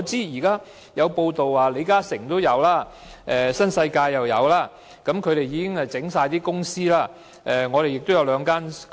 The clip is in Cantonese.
有報道指出，李嘉誠及新世界集團已經為此設立上市公司。